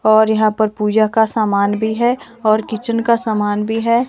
और यहाँ पर पूजा का सामान भी हैऔर किचन का सामान भी है।